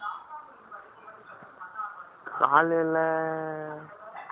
காலையில, ஆமா